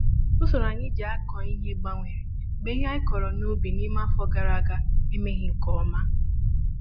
Usoro anyị ji akụ ihe gbanwere mgbe ihe anyị kụrụ n'ubi n'ime afọ gàrà aga emeghị nkè ọma